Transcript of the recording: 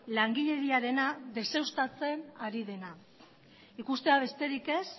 langileriarena deuseztatzen ari dena ikustea besterik ez